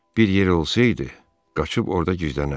Bir yer olsaydı, qaçıb orada gizlənərdi.